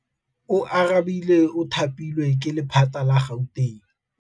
Oarabile o thapilwe ke lephata la Gauteng.